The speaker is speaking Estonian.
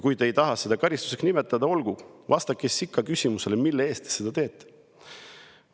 Kui te ei taha seda karistuseks nimetada, siis olgu, vastake küsimusele, mille eest te seda teete.